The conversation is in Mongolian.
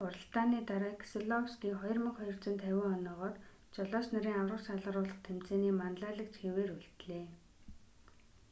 уралдааны дараа кеселовский 2,250 оноогоор жолооч нарын аварга шалгаруулах тэмцээний манлайлагч хэвээр үлдлээ